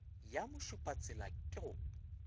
ya mošupatsela wo ke go